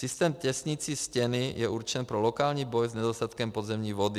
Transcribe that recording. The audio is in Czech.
Systém těsnicí stěny je určen pro lokální boj s nedostatkem podzemní vody.